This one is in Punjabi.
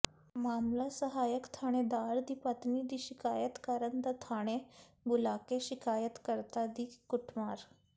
ਮਾਮਲਾ ਸਹਾਇਕ ਥਾਣੇਦਾਰ ਦੀ ਪਤਨੀ ਦੀ ਸ਼ਿਕਾਇਤ ਕਰਨ ਦਾ ਥਾਣੇ ਬੁਲਾਕੇ ਸ਼ਿਕਾਇਤਕਰਤਾ ਦੀ ਕੁੱਟਮਾਰ